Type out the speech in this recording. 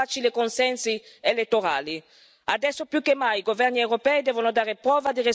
C'è ancora chi specula sulla vita delle persone alla ricerca di facili consensi elettorali.